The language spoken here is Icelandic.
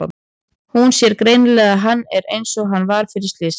Hún sér greinilega að hann er einsog hann var fyrir slysið.